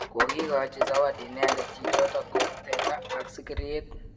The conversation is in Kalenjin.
kokikachi zawadi inendet chechotok ko teta ak sikiriet